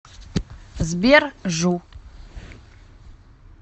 сбер жу